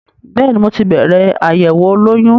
Bẹ́ẹ̀ni, mo ti bẹ̀rẹ̀ àyẹ̀wò olóyún.